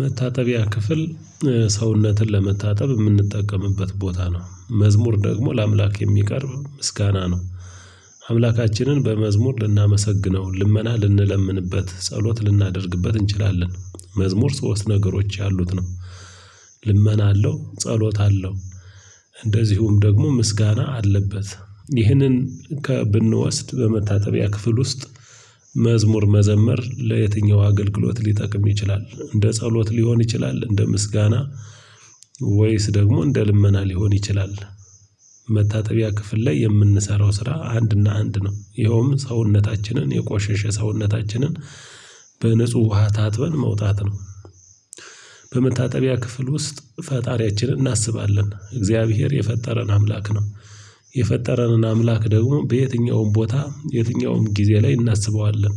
መታጠቢያ ክፍል ሰውነትን ለመታጠብ የምንጠቀምበት ቦታ ነው። መዝሙር ደግሞ ለአምላክ የሚቀርብ ምስጋና ነው። አምላካችንን በመዝሙር ልናመሰግነው ልመና ልንለምንበት ጸሎት ልናደርግበት እንችላለን። መዝሙር ሶስት ነገሮች ያሉት ነው። ልመና አለው ጸሎት አለው። እንደዚሁም ደግሞ ምስጋና አለበት። ይህንን ከ ብንወስድ በመታጠቢያ ክፍል ውስጥ መዝሙር መዘመር ለየትኛው አገልግሎት ሊጠቅም ይችላል? እንደ ጸሎት ሊሆን ይችላል እንደ ምስጋና ወይስ ደግሞ እንደ ልመና ሊሆን ይችላል? መታጠቢያ ክፍል ላይ የምንሰራው ስራ አንድና አንድ ነው ይኸውም ሰውነታችንን የቆሸሸ ሰውነታችንን በንጹህ ውሃ ታጥበን መውጣት ነው። በመታጠቢያ ክፍል ውስጥ ፈጣሪያችንን እናስባለን እግዚአብሔር የፈጠረን አምላክ ነው። የፈጠረንን አምላክ ደግሞ በየትኛውም ቦታ የትኛውም ጊዜ ላይ እናስበዋለን።